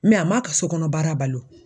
a ma ka so kɔnɔ baara bali wo.